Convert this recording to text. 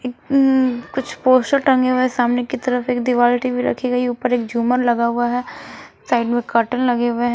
इम्म कुछ पोस्टर टंगे हुए हैं सामने की तरफ एक दीवाल टी_वी रखी गई ऊपर एक झूमर लगा हुआ है साइड में कर्टन लगे हुए हैं ।